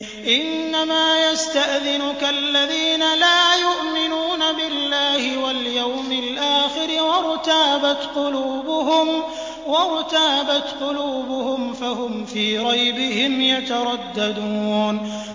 إِنَّمَا يَسْتَأْذِنُكَ الَّذِينَ لَا يُؤْمِنُونَ بِاللَّهِ وَالْيَوْمِ الْآخِرِ وَارْتَابَتْ قُلُوبُهُمْ فَهُمْ فِي رَيْبِهِمْ يَتَرَدَّدُونَ